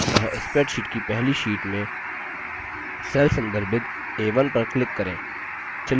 अतः spreadsheet की पहली sheet में cell संदर्भित a1 पर click करें